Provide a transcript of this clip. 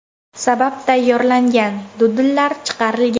sabab tayyorlangan dudllar chiqarilgan.